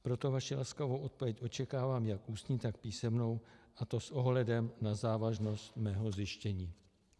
Proto vaši laskavou odpověď očekávám jak ústní, tak písemnou, a to s ohledem na závažnost mého zjištění.